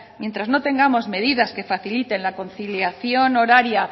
mientras no tengamos medidas que faciliten la conciliación horaria